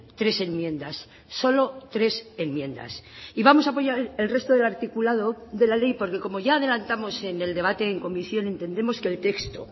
tres enmiendas solo tres enmiendas y vamos a apoyar el resto del articulado de la ley porque como ya adelantamos en el debate en comisión entendemos que el texto